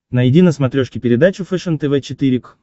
найди на смотрешке передачу фэшен тв четыре к